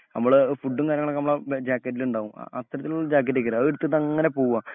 നമ്മളെ ഫുഡും കാര്യങ്ങളൊക്കെ നമ്മുളെ ജാക്കറ്റിലുണ്ടാകും. അത്തരത്തിലുള്ള ജാക്കറ്റൊക്കെയായിരിക്കും അതെടുത്തിട്ട് അങ്ങനെപോവുക